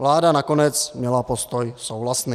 Vláda nakonec měla postoj souhlasný.